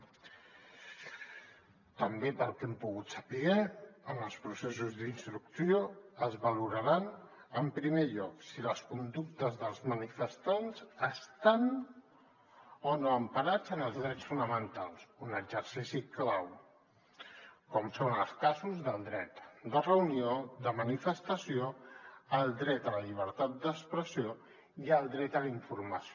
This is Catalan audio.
també pel que hem pogut saber en els processos d’instrucció es valoraran en primer lloc si les conductes dels manifestants estan o no emparades en els drets fonamentals un exercici clau com són els casos del dret de reunió de manifestació el dret a la llibertat d’expressió i el dret a la informació